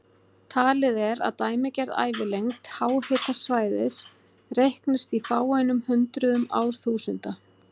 Talið er að dæmigerð ævilengd háhitasvæðis reiknist í fáeinum hundruðum árþúsunda.